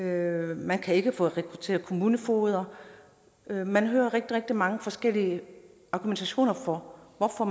man kan ikke få rekrutteret kommunefogeder man hører rigtig rigtig mange forskellige argumentationer for hvorfor